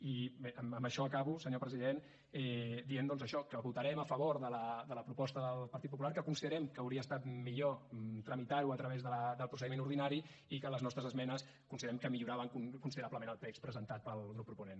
i amb això acabo senyor president dient doncs això que votarem a favor de la proposta del partit popular que considerem que hauria estat millor tramitar ho a través del procediment ordinari i que les nostres esmenes considerem que milloraven considerablement el text presentat pel grup proponent